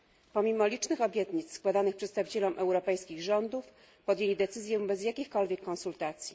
Pomimo licznych obietnic składanych przedstawicielom europejskich rządów, podjęli decyzję bez jakichkolwiek konsultacji.